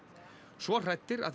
svo hrætt að